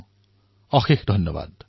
বহুতবহুত ধন্যবাদ